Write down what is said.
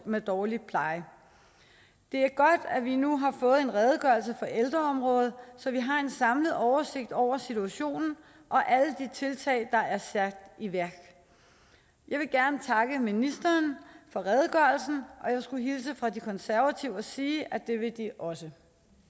med dårlig pleje det er godt at vi nu har fået en redegørelse for ældreområdet så vi har en samlet oversigt over situationen og alle de tiltag der er sat i værk jeg vil gerne takke ministeren for redegørelsen og jeg skulle hilse fra de konservative og sige at det vil de også